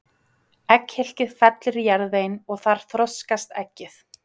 Egghylkið fellur í jarðveginn og þar þroskast eggið.